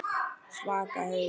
Svaka haus.